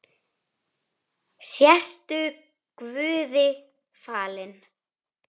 Sértu guði falin.